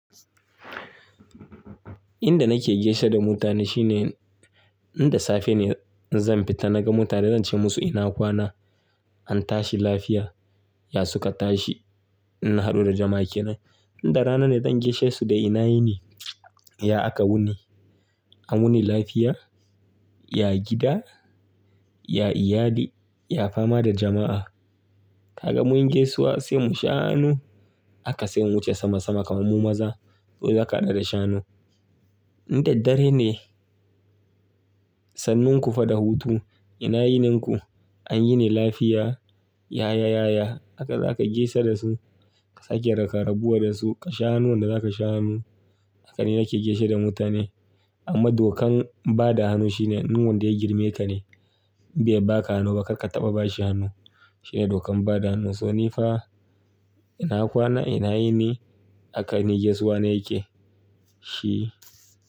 Inda nake gaishe da mutane shine, inda safe ne zan fita naga mutane zan ce musu ina kwana? An tashi lafiya? Ya suka tashi? Inna haɗu da jama'a kenan. Inda rana ne zan gaishe su da ina yini? Ya aka wuni? An wuni lafiya? Ya gida? Ya iyali? Ya fama da jama'a? Kaga mun yi gaisuwa sai mu sha hanu, haka sai mun wuce sama sama kamar mu maza, sai za ka da sha hanu. Inda dare ne, sannun ku fa da hutu, ina yininku? An yini lafiya? Yaya, yaya? Haka za ka gaisa da su. Ka sake raka-rabuwa da su. Ka sha'anu wanda za ka sha'anu. Haka ne nake gaishe da mutane. Amma dokan ba da hannu shine, in wanda ya girme ka ne. In bai ba ka hannu ba kar ka taɓa ba shi hannu. Shine dokan bada hannu. So ni fa ina kwana, ina yini? Haka ne gaisuwa na yake shi.